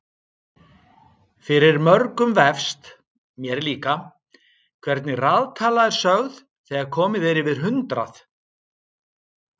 Fyrir mörgum vefst- mér líka- hvernig raðtala er sögð þegar komið er yfir hundrað.